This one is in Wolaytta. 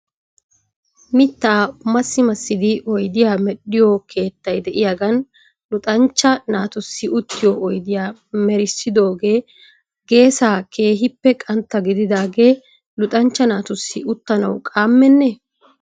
Mittaa massi massidi oydiyaa medhdhiyoo keettay de'iyaagan luxxanchcha naatussi uttiyoo oyddiyaa merissidoogee geesaa keehippe qantta gididaagee luxanchcha naatussi uttanaw qaammenne?